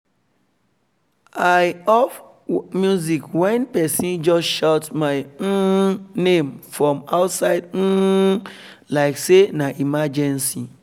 i off music when person just shout my um name from outside um like say na emergency